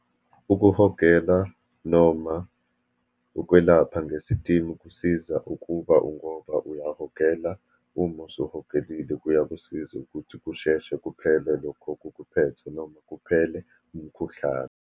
Ukuhogela, noma ukwelapha ngesitimu kusiza ukuba ngoba uyahogela, uma osuhogelile kuya kusiza ukuthi kusheshe kuphele lokho okukuphethe, noma kuphele umkhuhlane.